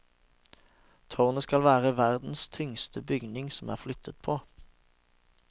Tårnet skal være verdens tyngste bygning som er flyttet på.